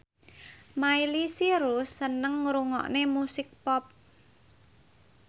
Miley Cyrus seneng ngrungokne musik pop